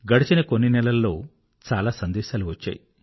గడచిన కొన్ని నెలలలో చాలా సందేశాలు వచ్చాయి